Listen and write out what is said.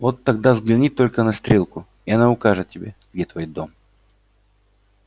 вот тогда взгляни только на стрелку и она укажет тебе где твой дом